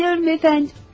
Bilirəm, cənab.